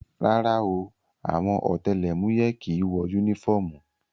Rárá o, àwọn ọ̀tẹlẹ̀múyẹ́ kìí wọ yúnífọ́ọ̀mù